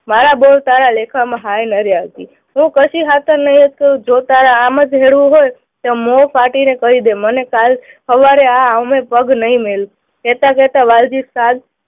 મારા બોવ સારા લેખામાં હાય નડ્યા છે. હું કશી હાતર નહી જ કહું જો તારે આમ જ હોય તો મોં ફાટીને કહી દે, મને કાલ સવારે આ ઉંબરે પગ નહી મેલું, કહેતા કહેતા વાલજીએ સાદ